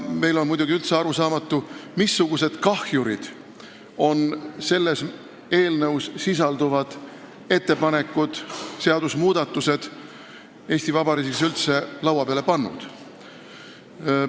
Ka on meile täiesti arusaamatu, missugused kahjurid on selles eelnõus sisalduvad seadusmuudatused Eesti Vabariigis üldse laua peale pannud.